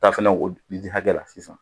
I hakɛ la sisan